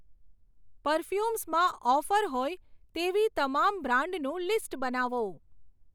પરફ્યુમ્સમાં offer હોય તેવી તમામ બ્રાન્ડનું લિસ્ટ બનાવો.